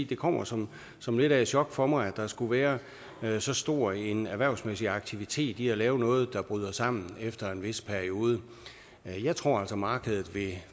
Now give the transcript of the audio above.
det kommer som som lidt af et chok for mig at der skulle være så stor en erhvervsmæssig aktivitet i at lave noget der bryder sammen efter en vis periode jeg tror altså at markedet